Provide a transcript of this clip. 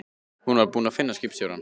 Hún var búin að finna skipstjórann.